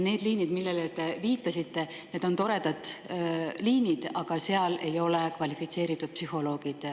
Need liinid, millele te viitasite, on toredad liinid, aga seal ei ole vastamas kvalifitseeritud psühholoogid.